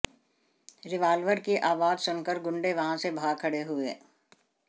revolver की आवाज सुनकर गुंडे वहां से भाग खड़े हुए